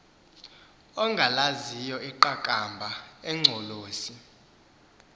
ongalaziyo iqakamba engcolosi